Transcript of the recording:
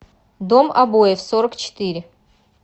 дом обоев сорок четыре